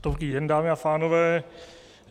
Dobrý den, dámy a pánové.